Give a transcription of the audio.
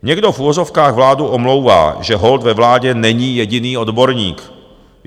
Někdo v uvozovkách vládu omlouvá, že holt ve vládě není jediný odborník.